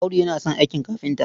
Audu yana son aikin kafinta.